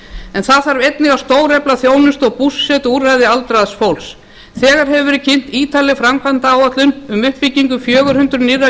en það þarf einnig að stórauka þjónustu og búsetuúrræði aldraðs fólks þegar hefur verið kynnt ítarleg framkvæmdaáætlun um uppbyggingu fjögur hundruð nýrra